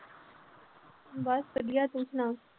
ਬਸ ਵਧੀਆ ਤੂੰ ਸੁਣਾ।